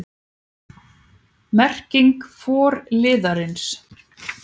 Merking forliðarins